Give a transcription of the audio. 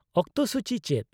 -ᱚᱠᱛᱚ ᱥᱩᱪᱤ ᱪᱮᱫ ?